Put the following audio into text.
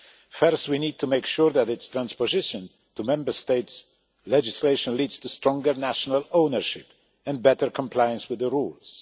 First, we need to make sure that its transposition into Member States' legislation leads to stronger national ownership and better compliance with the rules.